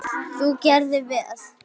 Þú gerðir vel!